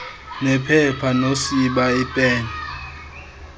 nephepha nosiba iipen